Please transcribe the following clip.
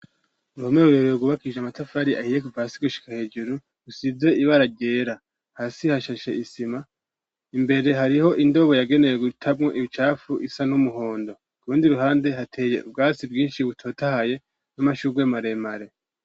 Uruhome rurerure rwubakishije amatafari ahiye kuva hasi gushika hejeru, rusize ibara ryera, hasi hashashe isima imbere hariho indobo yagenewe gutamwo ibicafu isa n'umuhondo ku rundi ruhande hateye ubwatsi bwinshi butotahaye n'amashugwe maremare.